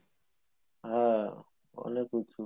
হ্যাঁ অনেক উঁচু